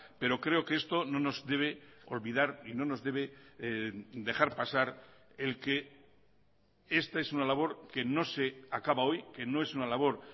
pero creo que esto no nos debe olvidar y no nos debe dejar pasar el que esta es una labor que no se acaba hoy que no es una labor